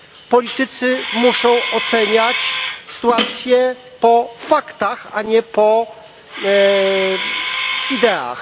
Politycy muszą oceniać sytuację po faktach, a nie po ideach.